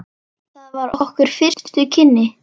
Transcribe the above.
Það voru okkar fyrstu kynni.